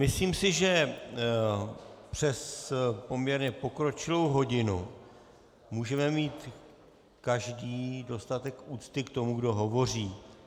Myslím si, že přes poměrně pokročilou hodinu můžeme mít každý dostatek úcty k tomu, kdo hovoří.